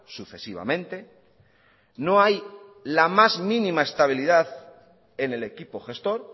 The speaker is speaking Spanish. sucesivamente no hay la más mínima estabilidad en el equipo gestor